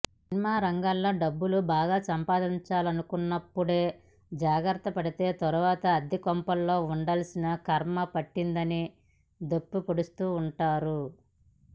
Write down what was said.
cinema రంగంలో డబ్బులు బాగా సంపాదించుకున్నప్పుడే జాగ్రత్త పడితే తర్వాత అద్దెకొంపల్లో వుండాల్సిన ఖర్మ పట్టదని దెప్పి పొడుస్తుంటారు